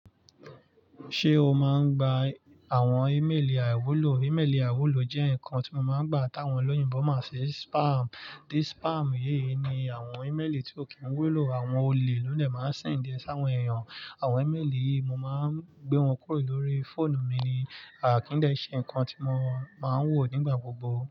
Ṣé o máa ń gba àwọn ímélì àwúlò? Ímélì àiwúlò jẹ́ ǹkan tí mo máa ń gba táwọn olóyìnbo máń ṣi spam. This spam yìí ni àwọn ímélì tí ó kì ń wúlò, àwọn olè lóde máa ń send é sáwọn èèyàn. Àwọn ímélì yìí, mo máa ń gbé wọn kúrò lórí fóònù mi ni àkíndè, ṣe ǹkan tí mo máa ń wò nígbà gbogbo.